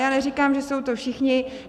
Já neříkám, že jsou to všichni.